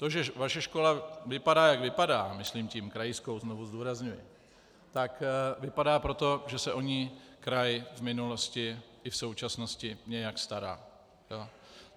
To, že vaše škola vypadá, jak vypadá, myslím tím krajskou, znovu zdůrazňuji, tak vypadá proto, že se o ni kraj v minulosti i v současnosti nějak stará.